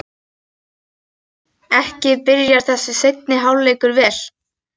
Ekki byrjar þessi seinni hálfleikur vel!